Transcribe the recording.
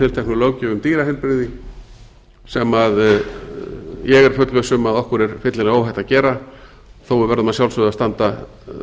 tilteknu löggjöf um dýraheilbrigði sem ég er fullviss um að okkur er fyllilega óhætt að gera þó að við verðum að sjálfsögðu að standa